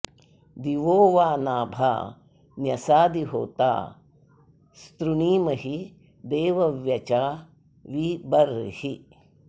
दिवो वा नाभा न्यसादि होता स्तृणीमहि देवव्यचा वि बर्हिः